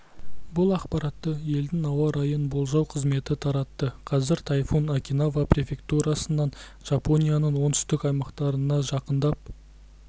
бұл ақпаратты елдің ауа райын болжау қызметі таратты қазір тайфун окинава префектурасынан жапонияның оңтүстік аймақтарына жақындап